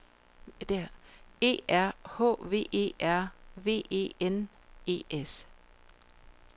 E R H V E R V E N E S